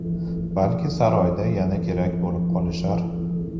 Balki saroyda yana kerak bo‘lib qolishar.